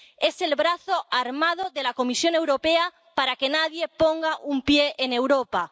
Es el brazo armado de la Comisión Europea para que nadie ponga un pie en Europa